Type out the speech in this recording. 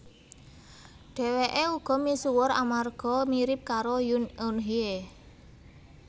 Dheweke uga misuwur amarga mirip karo Yoon Eun Hye